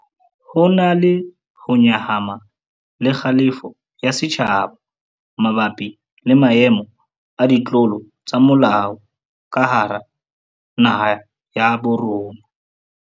Ho na le ho nyahama le kgalefo ya setjhaba mabapi le maemo a ditlolo tsa molao ka hara naha ya bo rona.